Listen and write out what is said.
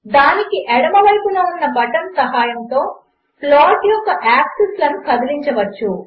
దానికిఎడమవైపునఉన్నబటన్సహాయముతోప్లాట్యొక్కయాక్సిస్లనుకదిలించవచ్చు